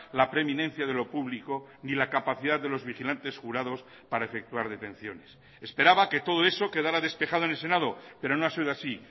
la preeminencia de lo público ni la capacidad de los vigilantes jurados para efectuar detenciones esperaba que todo eso quedará despejado en el senado pero no ha sido así